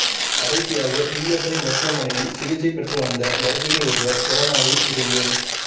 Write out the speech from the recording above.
கடைசியாக இஎஸ்ஐ மருத்துவமனையில் சிகிச்சை பெற்று வந்த கர்ப்பிணி ஒருவர் கொரோனாவில் இருந்து